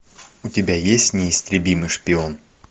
у тебя есть неистребимый шпион